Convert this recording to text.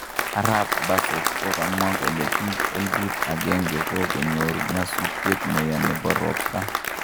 Arap Bossert kokamwa kole pik eliput agenge kokoyor nyasutiet neya nepo ropta.